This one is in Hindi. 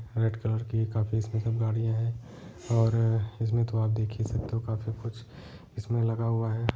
रेड कलर की काफी स्पेशल गाड़ीयां हैं और इसमें तो आप देख ही सकते हो काफी कुछ इसमें लगा हुआ है।